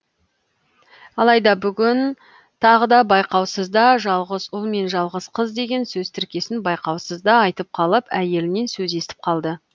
алайда бүгін тағы да байқаусызда жалғыз ұл мен жалғыз қыз деген сөз тіркесін байқаусызда айтып қалып әйелінен сөз естіп қалды